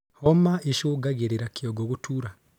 Homa ĩcũngagĩrĩrĩa kĩongo gũtuura